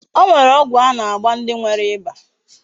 O nwere ogwu a na-agba ndi nwere iba.